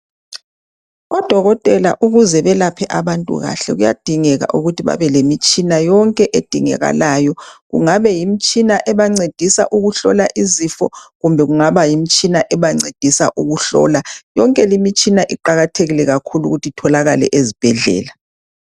Odokotela ukuze belaphe abantu kahle, kuyadingeka ukuthi babe lemitshina yonke edingekalayo, kungabe ngumtshina oncedisa ukuhlola izifo kumbe kungaba yimtshina ebancedisa ukuhlola. Yonke imitshina iqakathekile kakhulu ukuthi itholakale ezibhedlela.